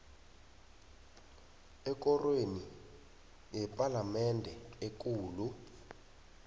ekorweni yepalamende ekulu